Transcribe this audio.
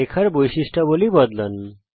রেখার বৈশিষ্ট্যাবলী পরিবর্তন করুন